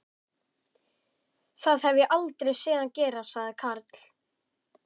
Það hef ég aldrei séð hann gera sagði Karl.